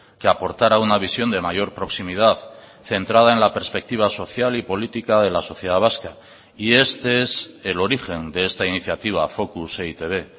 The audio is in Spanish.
que aportara una visión de mayor proximidad centrada en la perspectiva social y política de la sociedad vasca y este es el origen de esta iniciativa focus e i te be